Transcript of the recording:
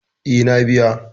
Eh, na biya.